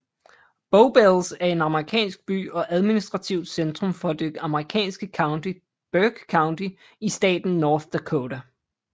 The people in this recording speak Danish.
Bowbells er en amerikansk by og administrativt centrum for det amerikanske county Burke County i staten North Dakota